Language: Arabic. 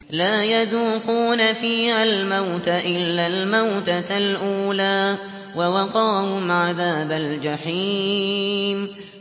لَا يَذُوقُونَ فِيهَا الْمَوْتَ إِلَّا الْمَوْتَةَ الْأُولَىٰ ۖ وَوَقَاهُمْ عَذَابَ الْجَحِيمِ